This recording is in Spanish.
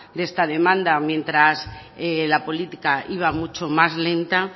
de esta demanda mientras la política iba mucho más lenta